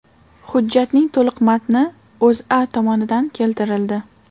Hujjatning to‘liq matni O‘zA tomonidan keltirildi .